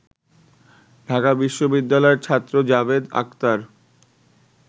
ঢাকা বিশ্ববিদ্যালয়ের ছাত্র জাভেদ আখতার